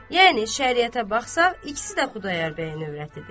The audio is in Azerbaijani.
Yəni şəriətə baxsaq, ikisi də Xudayar bəyin övrətidir.